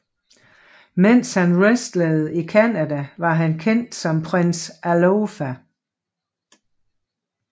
Mens han wrestlede i Canada var han kendt som Prince Alofa